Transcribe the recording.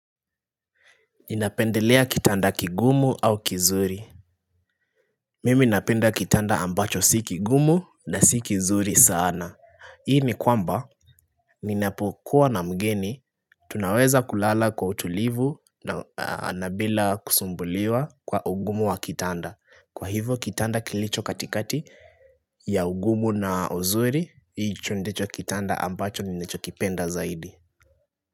Ninapendelea kitanda kigumu au kizuri Mimi napenda kitanda ambacho si kigumu na si kizuri sana Hii ni kwamba Ninapokuwa na mgeni Tunaweza kulala kwa utulivu na nabila kusumbuliwa kwa ugumu wa kitanda Kwa hivyo kitanda kilicho katikati ya ugumu na uzuri hicho ndicho kitanda ambacho ninacho kipenda zaidi.